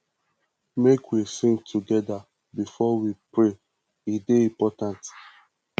make we sing togeda before we pray e dey important